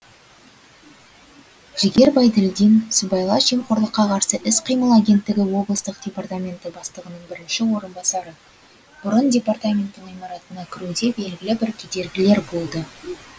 жігер байділдин сыбайлас жемқорлыққа қарсы іс қимыл агенттігі облыстық департаменті бастығының бірінші орынбасары бұрын департаменттің ғимаратына кіруде белгілі бір кедергілер болды